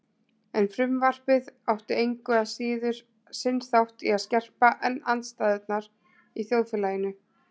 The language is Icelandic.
En frumvarpið átti engu að síður sinn þátt í að skerpa enn andstæðurnar í þjóðfélaginu.